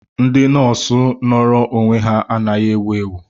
Ndị nọọsụ nọọrọ onwe ha anaghị ewu ewu.